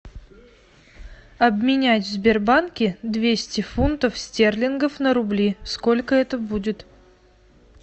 обменять в сбербанке двести фунтов стерлингов на рубли сколько это будет